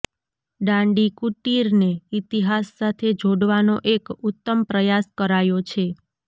દાંડીકુટિરને ઇતિહાસ સાથે જોડવાનો એક ઉત્તમ પ્રયાસ કરાયો છે